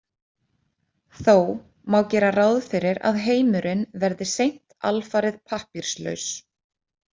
Þó má gera ráð fyrir að heimurinn verði seint alfarið pappírslaus.